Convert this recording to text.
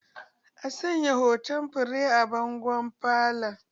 A sanya hoton fure a bangon falo